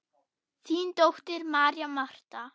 Þín dóttir, María Marta.